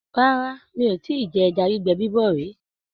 Rárá, mi ò tíì jẹ ẹja gbígbẹ bíbọ̀ rí.